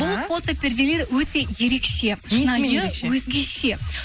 бұл фото перделер өте ерекше шынайы өзгеше